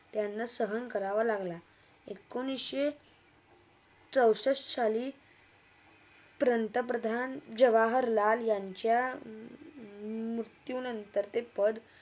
त्यांना सहान करावा लागला एकोणीशचे चौसष्ट साली पंतप्रधान जवाहरलाल यांचा मृत्यू नंतर ते पध